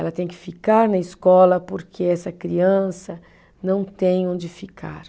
Ela tem que ficar na escola porque essa criança não tem onde ficar.